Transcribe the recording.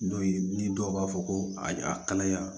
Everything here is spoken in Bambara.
N'o ye ni dɔw b'a fɔ ko a kalaya